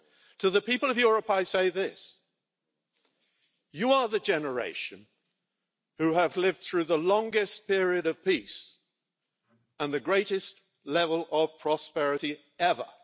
To the people of Europe I say this you are the generation who have lived through the longest period of peace and the greatest level of prosperity ever.